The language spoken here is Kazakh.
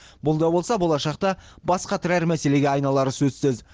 бұл да болса болашақта бас қатырар мәселеге айналары сөзсіз